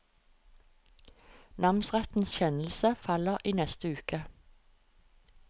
Namsrettens kjennelse faller i neste uke.